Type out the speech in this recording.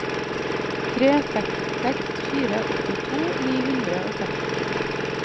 tre seks seks fire åttito ni hundre og seks